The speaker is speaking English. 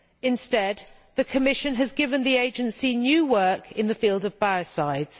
Instead, the Commission has given the Agency new work in the field of biocides.